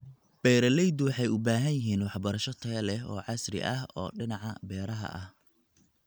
Beeralaydu waxay u baahan yihiin waxbarasho tayo leh oo casri ah oo dhinaca beeraha ah.